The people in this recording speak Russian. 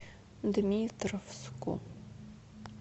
дмитровску